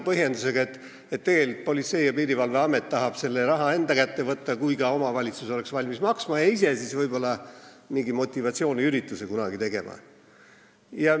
Põhjendus on, et tegelikult Politsei- ja Piirivalveamet tahab selle raha endale võtta, kui ka omavalitsus oleks valmis maksma, ja ise võib-olla mingi motivatsiooniürituse kunagi teha.